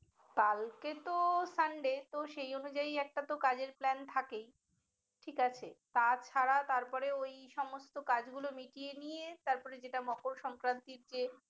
কালকে তো sunday তো সে অনুযায়ী একটা তো কাজের plane থাকেই ঠিক আছে। তাছাড়া তারপরে ওই সমস্ত কাজ গুলো মিটিয়ে নিয়ে তারপরে যেটা মকর সংক্রান্তিতে